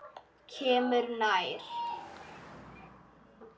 Kemur nær.